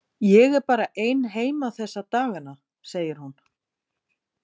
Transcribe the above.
Ég er bara ein heima þessa dagana, segir hún.